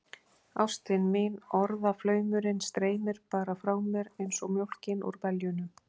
Ástin mín, orðaflaumurinn streymir bara frá mér einsog mjólkin úr beljunum.